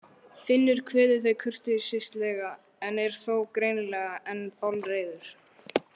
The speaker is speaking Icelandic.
Finnur kveður þau kurteislega en er þó greinilega enn bálreiður.